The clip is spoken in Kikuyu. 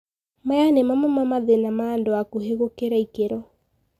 Maya ni mamwe ma mathina ma andũ akuhi gũkira ikĩro.